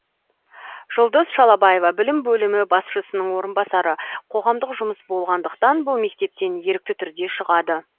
жұлдыз шалабаева білім бөлімі басшысының орынбасары қоғамдық жұмыс болғандықтан бұл мектептен ерікті түрде шығады